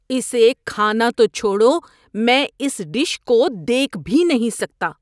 اسے کھانا تو چھوڑو، میں اس ڈش کو دیکھ بھی نہیں سکتا۔